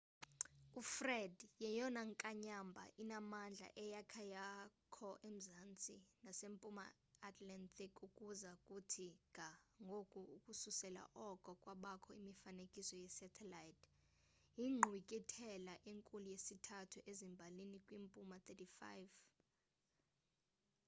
ufred yeyona nkanyamba inamandla eyakha yakho emzantsi nasempuma atlantic ukuza kuthi ga ngoku ukususela oko kwabakho imifanekiso ye-satelite yinkqwithela enkulu yesithathu ezimbalini kwimpuma 35°w